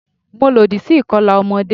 Mo lòdì sí ìkọlà ọmọdé.